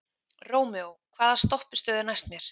Rómeó, hvaða stoppistöð er næst mér?